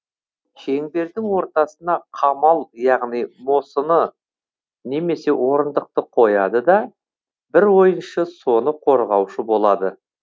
шеңбердің ортасына қамал яғни мосыны немесе орындықты қояды да бір ойыншы соны қорғаушы болады